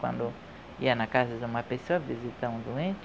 Quando ia na casa de uma pessoa visitar um doente,